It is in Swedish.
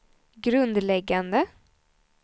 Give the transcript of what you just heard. grundläggande